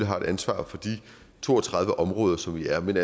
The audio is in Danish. har et ansvar for de to og tredive områder som vi har men